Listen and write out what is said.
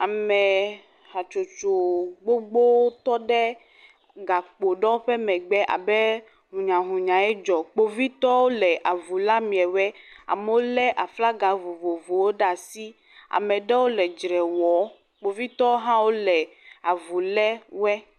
Ame hatsotso gbogbo tɔ ɖe gakpo aɖewo ƒe megbe abe hunyahunyae dzɔ. Kpovitɔwo le avu lém ameawo. Amewo lé aflaga vovovowo ɖe asi. Ame aɖewo le drɛ wɔɔ. Kpovitɔwo hã wole avu lé woe.